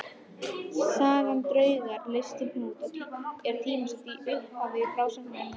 Sagan Draugur leysir hnút er tímasett í upphafi frásagnarinnar.